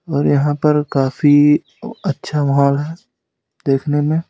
और यहां पर काफी अच्छा माहौल है देखने में--